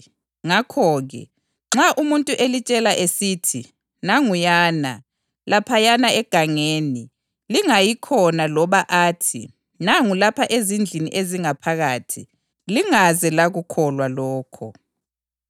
Ngakho-ke, nxa umuntu elitshela esithi, ‘Nanguyana, laphayana egangeni,’ lingayi khona loba athi, ‘Nangu lapha ezindlini ezingaphakathi,’ lingaze lakukholwa lokho.